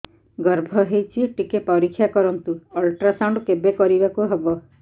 ଗର୍ଭ ହେଇଚି ଟିକେ ପରିକ୍ଷା କରନ୍ତୁ ଅଲଟ୍ରାସାଉଣ୍ଡ କେବେ କରିବାକୁ ହବ